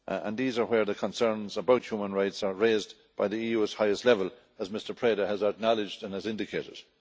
These are where the concerns about human rights are raised by the EU's highest level, as Mr Preda has acknowledged and has indicated.